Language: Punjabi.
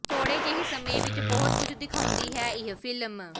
ਥੋਹੜੇ ਜਿਹੇ ਸਮੇਂ ਵਿੱਚ ਬਹੁਤ ਕੁਝ ਦਿਖਾਉਂਦੀ ਹੈ ਇਹ ਫਿਲਮ